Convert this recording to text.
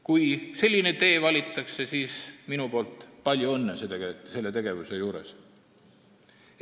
Kui selline tee valitakse, siis minu poolt palju õnne selle tegevuse juures!